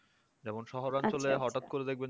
যেমন শহর অঞ্চলে হঠাৎ করে দেখবেন